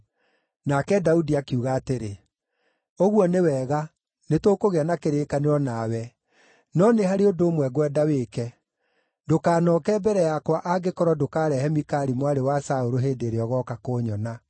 Nake Daudi akiuga atĩrĩ, “Ũguo nĩ wega. Nĩtũkũgĩa na kĩrĩkanĩro nawe. No nĩ harĩ ũndũ ũmwe ngwenda wĩke: ndũkanooke mbere yakwa angĩkorwo ndũkarehe Mikali mwarĩ wa Saũlũ hĩndĩ ĩrĩa ũgooka kũnyona.”